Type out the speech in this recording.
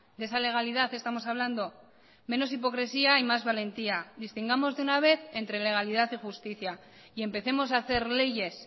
de esa legalidad estamos hablando menos hipocresía y más valentía distingamos de una vez entre legalidad y justicia y empecemos a hacer leyes